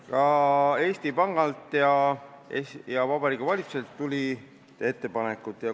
Ka Eesti Pangalt ja Vabariigi Valitsuselt tuli ettepanekuid.